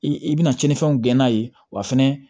I bɛna tiɲɛnifɛnw gɛn'a ye wa fɛnɛ